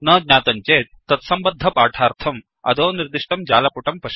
न ज्ञातं चेत् तत्सम्बद्ध पाठार्थम् अधोनिर्दिष्टं जालपुटं पश्यन्तु